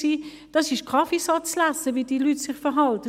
Wie sich diese Leute verhalten, ist Kaffeesatzlesen.